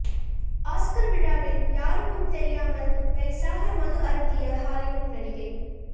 Oscar விழாவில் யாருக்கும் தெரியாமல் நைசாக மது அருந்திய ஹாலிவுட் நடிகை